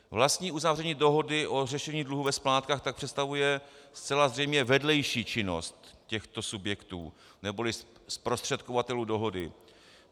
Vlastní uzavření dohody o řešení dluhu ve splátkách tak představuje zcela zřejmě vedlejší činnost těchto subjektů neboli zprostředkovatelů dohody.